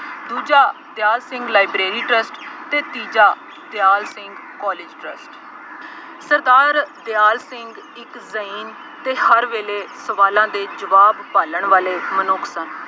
ਦੂਜਾ Dyal Singh library trust ਅਤੇ ਤੀਜਾ ਦਿਆਲ ਸਿੰਘ ਕਾਲਜ ਟਰੱਸਟ, ਸਰਦਾਰ ਦਿਆਲ ਸਿੰਘ ਇੱਕ ਅਤੇ ਹਰ ਵੇਲੇ ਸਵਾਲਾਂ ਦੇ ਜਵਾਬ ਭਾਲਣ ਵਾਲੇ ਮਨੁੱਖ ਸਨ।